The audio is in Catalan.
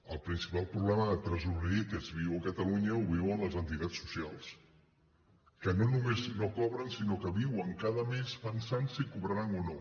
el principal problema de tresoreria que es viu a catalunya el viuen les entitats socials que no només no cobren sinó que viuen cada més pensant si cobraran o no